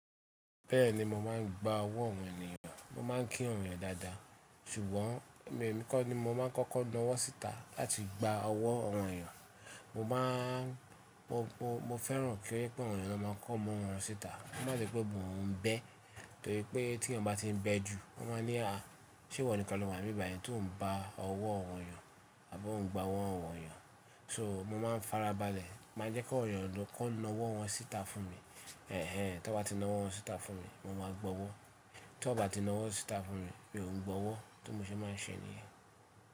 Bẹ́ẹ̀ni, mo máà ń gba ọwọ́ àwọn ènìyàn. Mo máa ń kí ènìyàn dáadáa. Ṣùgbọ́n ẹ̀mí mi kọ́ ni mo máa ń kọ́kọ́ náwọ́ sítà láti gba ọwọ́ àwọn ènìyàn. Mo máa ń, mo, mo, mo fẹ́ràn kí nípà Awón, ééyán máa kọ́mọ́ wọn síta. Wọn má ti gbogbo ń bẹ́, torí pé tí ènìyàn bá ti ń bẹ jù, wọ́n máa ní, "àá, ṣe ìwọ nìkan ló máa rí ìbàyíní tó ń bá ọwọ́ àwọn ènìyàn, àbó ń gba ọwọ́ àwọn ènìyàn?" So mo máa ń farabalẹ̀, má jẹ́ kí ènìyàn lọ́ kọ́ náwọ́ wọn síta fún mi. Ẹ̀ẹ́, tó bá ti náwọ́ wọn síta fún mi, mo máa gbọwọ́. Tó bá ti náwọ́ síta fún mi, mi ò gbọwọ́. Tó mo ṣe máa ṣe ní ìyẹn.